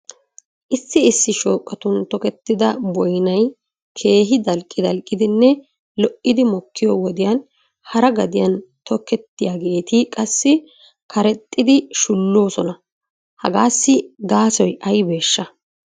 Issi issi shooqatun tokettida boynay keehi dalqqi dalqqidinne lo'idi mokkiyo wodiya hara gadiyan tokettiyaageeti qassi karexxidi shulloosona. Hegaassi gaasoy aybeeshsha?